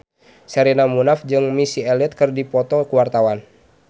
Sherina Munaf jeung Missy Elliott keur dipoto ku wartawan